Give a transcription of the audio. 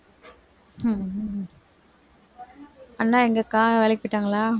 அண்ணா எங்க அக்கா வேலைக்கு போயிட்டாங்களா